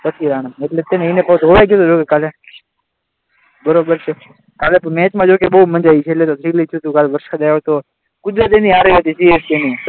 પછી રાણા એટલે એને જોવા જોઈએ હવે કાલે બરાબર છે આ મેચમાં જો કે બહુ મજા આવી છેલ્લે સીધો વરસાદ આવ્યો હતો કુદરત એમની સાથે હતી CSK ની